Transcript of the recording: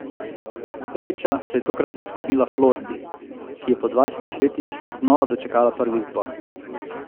Sreča se je tokrat nasmehnila Floridi, ki je po dvajsetih letih znova dočakala prvi izbor.